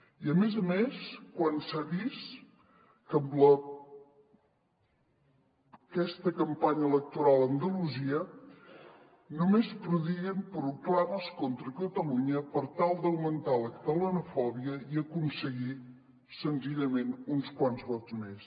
i a més a més quan s’ha vist que amb aquesta campanya electoral a andalusia només prodiguen proclames contra catalunya per tal d’augmentar la catalanofòbia i aconseguir senzillament uns quants vots més